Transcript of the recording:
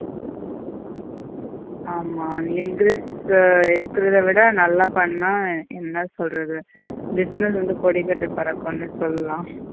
ஆமா இருக்கிறத விட நல்லா பண்ணா என்ன சொல்றது business வந்து கொடிகட்டி பறக்கும்னு சொல்லலாம்